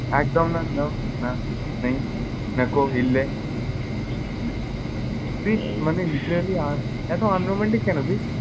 একদম না no না নেই। Hindi না কোই হিল্লে তুই মানে literally আহ এত unromantic কেন তুই?